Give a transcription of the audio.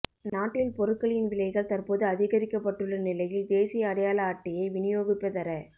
நாட்டில் பொருட்களின் விலைகள் தற்போது அதிகரிக்கப்பட்டுள்ள நிலையில் தேசிய அடையாள அட்டையை விநியோகிப்பதற